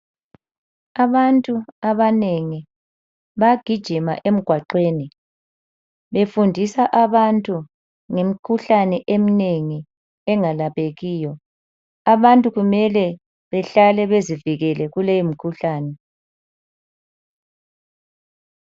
Abantu abanengi bagijima emgwaqweni befundisa abantu ngemkhulane emnengi engalaphekiyo, abantu kumele behlale bezivikele kuleyo mkhuhlane.